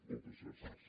moltes gràcies